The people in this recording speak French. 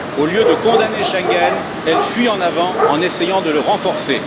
Au lieu de condamner Schengen, elle fuit en avant en essayant de le renforcer.